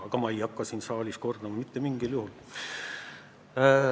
Aga ma ei hakka seda siin saalis kordama – mitte mingil juhul.